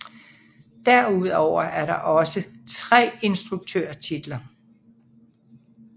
Derudover er der også tre instruktørtitler